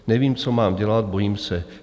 Nevím, co mám dělat, bojím se.